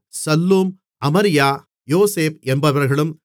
Shallum அமரியா யோசேப் என்பவர்களும்